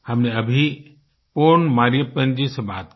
हमनें अभी पोन मरियप्पन जी से बात की